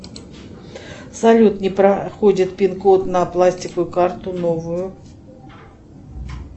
салют не проходит пин код на пластиковую карту новую